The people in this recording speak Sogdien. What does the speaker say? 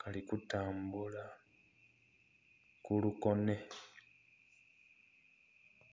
kali kutambula ku lukonhe.